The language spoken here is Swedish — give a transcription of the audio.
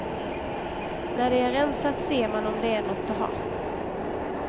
När det är rensat ser man om det är något att ha.